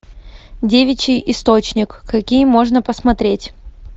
девичий источник какие можно посмотреть